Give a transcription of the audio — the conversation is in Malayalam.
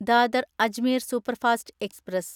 Dadar Ajmer superfast express